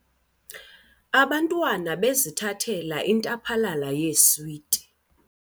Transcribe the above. Abantwana bebzithathela intaphalala yeeswiti.